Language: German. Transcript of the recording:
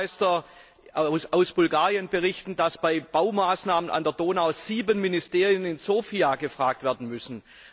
Bürgermeister aus Bulgarien berichten, dass bei Baumaßnahmen an der Donau sieben Ministerien in Sofia gefragt werden müssen.